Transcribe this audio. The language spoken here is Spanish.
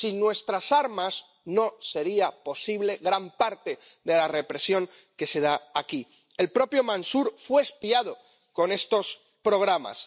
Sin nuestras armas no sería posible gran parte de la represión que se da allí. El propio Mansur fue espiado con estos programas.